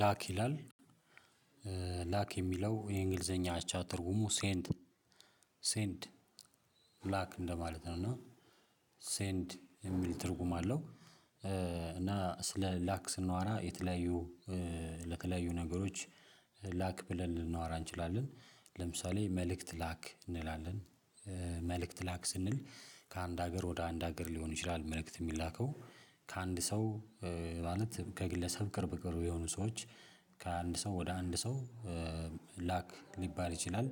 ላክ ይላል ላክ የሚለው የእንግሊዘኛ አቻ ትርጉሙ ሴንድ ሴንድ ላክ እንደማለት ነው። እና ሴንድ የሚል ትርጉም አለው። እና ስለ ላክ ስናወራ የተለያዩ ለተለያዩ ነገሮች ላክ ብለን ልንናገር እንችላለን። ለምሳሌ መልእክት ላክ እንላለን። መልእክት ላክ ስንል ከአንድ ሀገር ወደ አንድ ሀገር ሊሆን ይችላል መልእክት የሚላከው ከአንድ ሰው ማለት ከግለሰብ ቅርብ ቅርብ የሆኑ ሰዎች ከአንድ ሰው ወደ አንድ ሰው ላክ ሊባል ይችላል።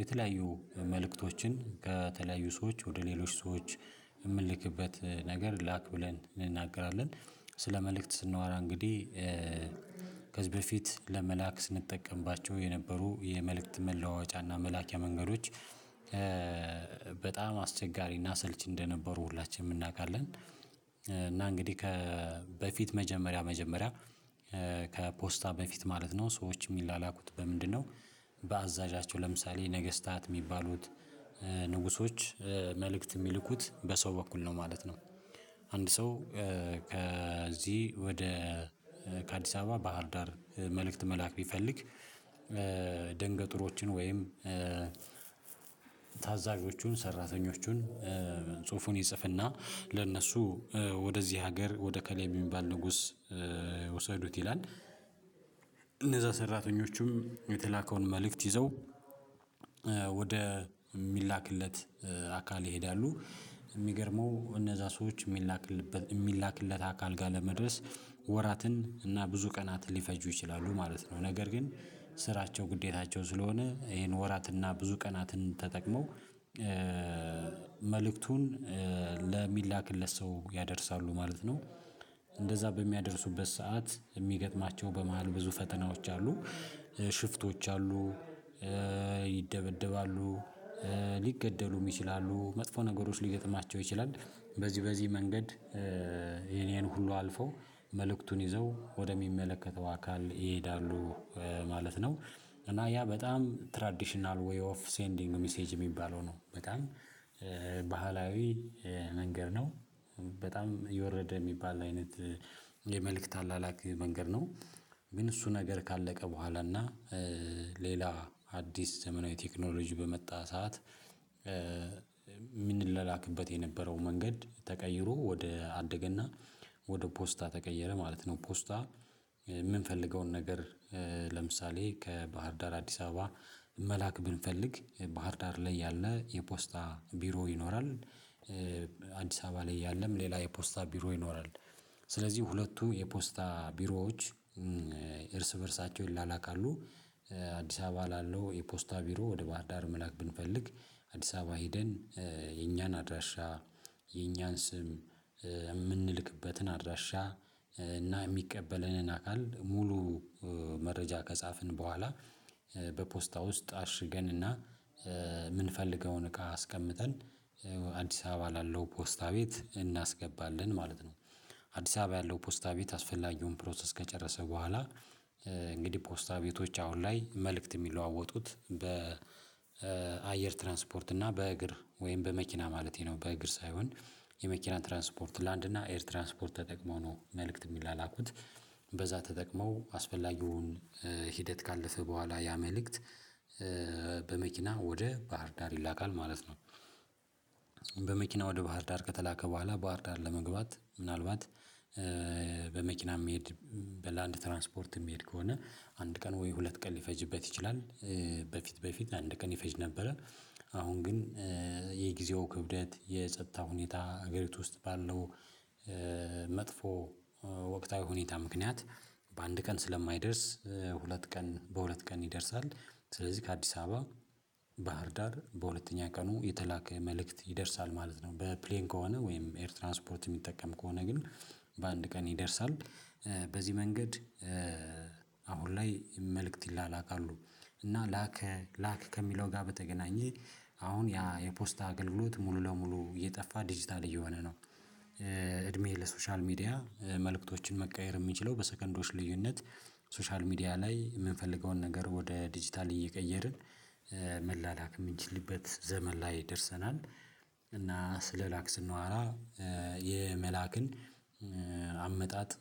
የተለያዩ መልእክቶችን ከተለያዩ ሰዎች ወደ ሌሎች ሰዎች የምንልክበት ነገር ላክ ብለን እንናገራለን። ስለ መልእክት ስንዋራ እንግዲህ ከዚህ በፊት ለመላክ ስንጠቀምባቸው የነበሩ የመልእክት መለዋወጫና መላኪያ መንገዶች በጣም አስቸጋሪና ሰልች እንደነበሩ ሁላችንም እናውቃለን። እና እንግዲህ ከበፊት መጀመሪያ መጀመሪያ ከፖስታ በፊት ማለት ነው ሰዎች የሚላላኩት በምንድነው? በአዛዣቸው ለምሳሌ ነገስታት የሚባሉት ንጉሶች መልእክት የሚልኩት በሰው በኩል ነው ማለት ነው። አንድ ሰው ከዚህ ወደ ከአዲስ አበባ ባህር ዳር መልእክት መላክ ቢፈልግ ደንገጡሮችን ወይም ታዛዦቹን ሰራተኞቹን ጽሁፉን ይጽፍና ለእነሱ ወደዚህ ሀገር ወደ ከሌ የሚባል ንጉስ ውሰዱት ይላል። እነዛ ሰራተኞችም የተላከውን መልእክት ይዘው ወደ የሚላክለት አካል ይሄዳሉ። የሚገርመው እነዛ ሰዎች የሚላክልበት የሚላክለት አካል ጋር ለመድረስ ወራትን እና ብዙ ቀናትን ሊፈጁ ይችላሉ ማለት ነው። ነገር ግን ስራቸው ግዴታቸው ስለሆነ ይሄን ወራትና ብዙ ቀናትን ተጠቅመው መልእክቱን ለሚላክለት ሰው ያደርሳሉ ማለት ነው። እንደዛ በሚያደርሱበት ሰዓት የሚገጥማቸው በመሃል ብዙ ፈተናዎች አሉ። ሽፍቶች አሉ። ይደበደባሉ ሊገደሉም ይችላሉ መጥፎ ነገሮች ሊገጥማቸው ይችላል። በዚህ በዚህ መንገድ ይሄን ይሄን ሁሉ አልፈው መልእክቱን ይዘው ወደሚመለከተው አካል ይሄዳሉ። ማለት ነው እና ያ በጣም ትራዲሽናል ዌይ ኦፍ ሴንዲንግ ሚሴጅ የሚባለው ነው በጣም ባህላዊ መንገድ ነው። በጣም የወረደ የሚባል አይነት የመልእክት አላላክ መንገድ ነው። ግን እሱ ነገር ካለቀ በኋላ እና ሌላ አዲስ ዘመናዊ ቴክኖሎጂ በመጣ ሰዓት የምንለላክበት የነበረው መንገድ ተቀይሮ ወደ አደገ እና ወደ ፖስታ ተቀየረ ማለት ነው። ፖስታ የምንፈልገውን ነገር ለምሳሌ ከባህር ዳር አዲስ አበባ መላክ ብንፈልግ ባህር ዳር ላይ ያለ የፖስታ ቢሮ ይኖራል። አዲስ አበባ ላይ ያለም ሌላ የፖስታ ቢሮ ይኖራል። ስለዚህ ሁለቱ የፖስታ ቢሮዎች እርስ በእርሳቸውን ይላላካሉ። አዲስ አበባ ላለው የፖስታ ቢሮ ወደ ባህር ዳር መላክ ብንፈልግ አዲስ አበባ ሄደን የኛን አድራሻ የኛን ስም የምንልክበትን አድራሻ እና የሚቀበለንን አካል ሙሉ መረጃ ከጻፍን በኋላ በፖስታ ውስጥ አሽገንና የምንፈልገውን እቃ አስቀምጠን አዲስ አበባ ላለው ፖስታ ቤት እናስገባለን ማለት ነው። አዲስ አበባ ያለው ፖስታ ቤት አስፈላጊውን ፕሮሰስ ከጨረሰ በኋላ እንግዲህ ፖስታ ቤቶች አሁን ላይ መልእክት የሚለዋወጡት በአየር ትራንስፖርት እና በእግር ወይም በመኪና ማለቴ ነው በእግር ሳይሆን። የመኪና ትራንስፖርት ላንድ እና ኤር ትራንስፖርት ተጠቅመው ነው መልእክት የሚላላኩት። በዛ ተጠቅመው አስፈላጊውን ሂደት ካለፈ በኋላ ያ መልእክት በመኪና ወደ ባህር ዳር ይላካል ማለት ነው። በመኪና ወደ ባህር ዳር ከተላከ በኋላ ባህር ዳር ለመግባት ምናልባት በመኪና የሚሄድ በላንድ ትራንስፖርት የሚሄድ ከሆነ አንድ ቀን ወይ ሁለት ቀን ሊፈጅበት ይችላል። በፊት በፊት አንድ ቀን ይፈጅ ነበረ። አሁን ግን የጊዜው ክብደት የጸጥታ ሁኔታ ሀገሪቱ ውስጥ ባለው መጥፎ ወቅታዊ ሁኔታ ምክንያት በአንድ ቀን ስለማይደርስ ሁለት ቀን በሁለት ቀን ይደርሳል። ስለዚህ ከአዲስ አበባ ባህር ዳር በሁለተኛ ቀኑ የተላከ መልእክት ይደርሳል ማለት ነው። በፕሌን ከሆነ ወይም ኤር ትራንስፖርት የሚጠቀም ከሆነ ግን በአንድ ቀን ይደርሳል። በዚህ መንገድ አሁን ላይ መልእክት ይላላካሉ። እና ላከ ላክ ከሚለው ጋር በተገናኘ አሁን ያ የፖስታ አገልግሎት ሙሉ ለሙሉ እየጠፋ ዲጂታል እየሆነ ነው። እድሜ ለሶሻል ሚዲያ መልእክቶችን መቀየር የምንችለው በሰከንዶች ልዩነት ሶሻል ሚዲያ ላይ የምንፈልገውን ነገር ወደ ዲጂታል እየቀየርን መላላክ የምንችልበት ዘመን ላይ ደርሰናል። እና ስለላክ ስናዋራ የመላክን አመጣጥ